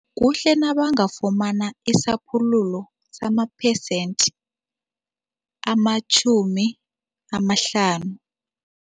Kuhle nabangafumana isaphululo samaphesente amatjhumi amahlanu.